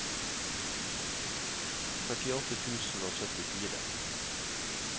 førtiåtte tusen og syttifire